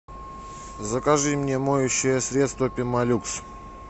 закажи мне моющее средство пемолюкс